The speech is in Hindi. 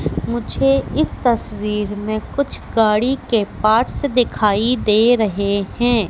मुझे इस तस्वीर में कुछ गाड़ी के पार्ट्स दिखाई दे रहे हैं।